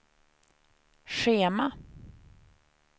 schema